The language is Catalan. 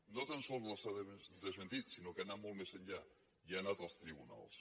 no tan sols les ha desmentit sinó que ha anat molt més enllà i ha anat als tribunals